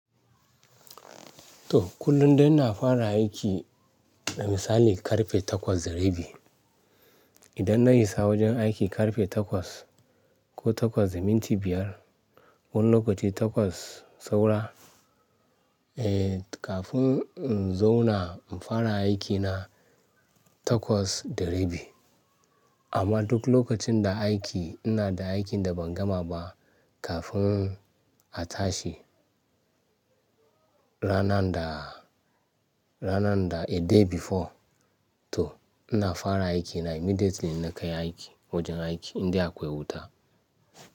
To kullum dai ina fara aiki, da misalin ƙarfe takwas da rabi. Idan na isa wajen aiki ƙarfe takwas ko takwas da minti biyar, wani lokaci takwas saura, eh kafin in zauna in fara aikina takwas da rabi. Amma duk lokacin da aiki ina da aikin da ban gama ba kafin a tashi ranan da, ranan da a day before to ina fara aikina immediately ina kai aiki wajen aiki indai akwai wuta.